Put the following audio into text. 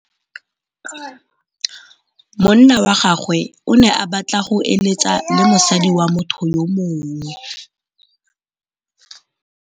Monna wa gagwe o ne a batla go êlêtsa le mosadi wa motho yo mongwe.